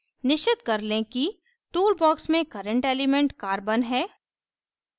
निश्चित कर लें कि tool box में current element carbon है